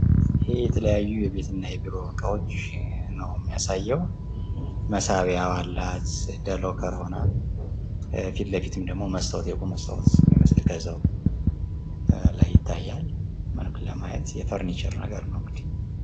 ይህ የተለያዩ የቤት እና የቢሮ እቃዎች ነዉ የሚያሳየዉ። መሳቢያ አላት እንደ ሎከር ሆና። ፊት ለፊትም ደግሞ መስታወት ከላይ ፊት ለማየት የፈርኒቸር ነገር ነዉ እንግዲህ።